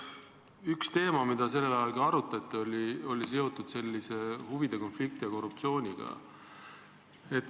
Üks teema, mida ka arutati, oli seotud huvide konflikti ja korruptsiooniga.